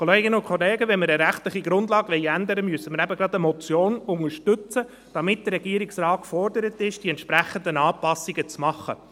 Kolleginnen und Kollegen, wenn man eine rechtliche Grundlage ändern will, muss man eben gerade eine Motion unterstützen, damit der Regierungsrat gefordert ist, die entsprechenden Anpassungen zu machen.